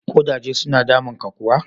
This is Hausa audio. Kudaje suna damunka kuwa?